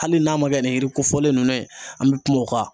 Hali n'a ma kɛ ni yiri kofɔlen nunnu ye, an bi kuma o kan.